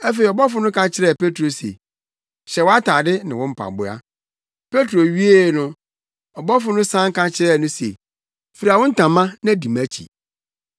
Afei ɔbɔfo no ka kyerɛɛ Petro se, “Hyɛ wʼatade ne wo mpaboa.” Petro wiee no, ɔbɔfo no san ka kyerɛɛ no se, “Fura wo ntama na di mʼakyi.”